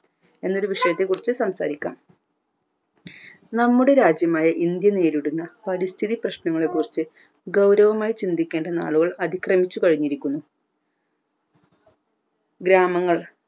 എന്നൊരു വിഷയത്തെ കുറിച് സംസാരിക്കാം നമ്മുടെ നാടായ ഇന്ത്യ നേരിടുന്ന പരിസ്ഥിതി പ്രശ്നങ്ങളെ കുറിച് ഗൗരവമായി ചിന്തിക്കേണ്ട നാളുകൾ അതിക്രമിച്ചു കഴിഞ്ഞിരിക്കുന്നു ഗ്രാമങ്ങൾ